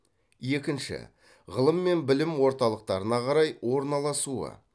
екінші ғылым мен білім орталықтарына қарай орналасуы